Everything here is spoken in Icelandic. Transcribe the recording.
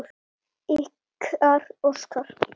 Ykkar, Óskar.